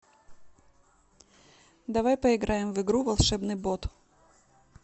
давай поиграем в игру волшебный бот